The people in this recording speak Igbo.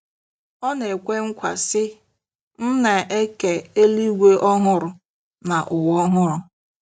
Ọ na-ekwe nkwa, sị: “ M na-eke eluigwe ọhụrụ na ụwa ọhụrụ.